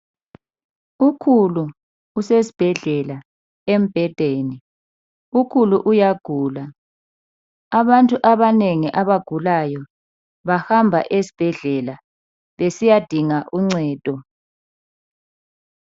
Ukhulu usesibhedlela embhedeni. Ukhulu uyagula. Abantu abanengi abagulayo bahamba esibhedlela, besiyadinga uncedo.